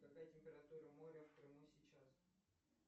какая температура моря в крыму сейчас